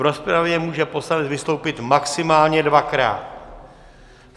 V rozpravě může poslanec vystoupit maximálně dvakrát.